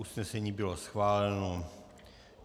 Usnesení bylo schváleno.